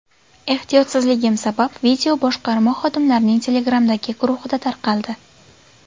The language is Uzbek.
Ehtiyotsizligim sabab video boshqarma xodimlarining Telegram’dagi guruhida tarqaldi.